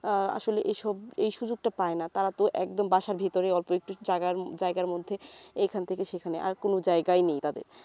আহ আসলে এই সব এই সুযোগটা পায়না তারা তো একদম বাসার ভেতরে অল্প একটু জায়গার মধ্যে এইখান থেকে সেইখানে আর কোন জায়গাই নেই তাদের